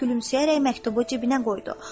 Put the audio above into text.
Nəhayət, gülümsəyərək məktubu cibinə qoydu.